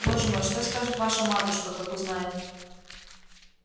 боже мой что скажет ваша матушка как узнает